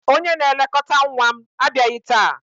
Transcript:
Onye na-elekọta nwa m abịaghị taa.